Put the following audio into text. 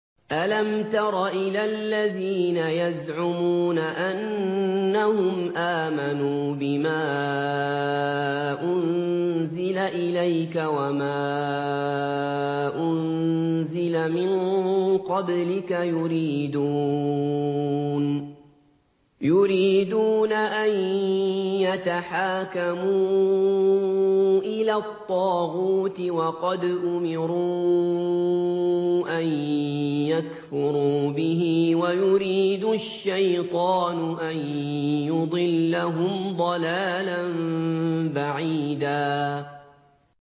أَلَمْ تَرَ إِلَى الَّذِينَ يَزْعُمُونَ أَنَّهُمْ آمَنُوا بِمَا أُنزِلَ إِلَيْكَ وَمَا أُنزِلَ مِن قَبْلِكَ يُرِيدُونَ أَن يَتَحَاكَمُوا إِلَى الطَّاغُوتِ وَقَدْ أُمِرُوا أَن يَكْفُرُوا بِهِ وَيُرِيدُ الشَّيْطَانُ أَن يُضِلَّهُمْ ضَلَالًا بَعِيدًا